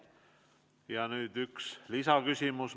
Ja nüüd üks lisaküsimus.